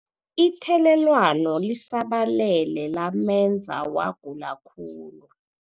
Ithelelwano lisabalele lamenza wagula khulu.